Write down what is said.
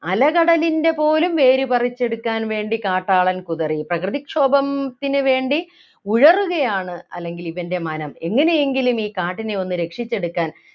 അലകടലിൻ്റെ പോലും വേര് പറിച്ചെടുക്കാൻ വേണ്ടി കാട്ടാളൻ കുതറി പ്രകൃതിക്ഷോഭം ത്തിന്നു വേണ്ടി ഉഴറുകയാണ് അല്ലെങ്കിൽ ഇവൻ്റെ മനം എങ്ങനെയെങ്കിലും ഈ കാട്ടിനെയൊന്ന് രക്ഷിച്ചെടുക്കാൻ